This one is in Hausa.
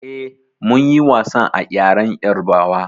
Eh, mun yi wasan a ƴaren ƴarbawa.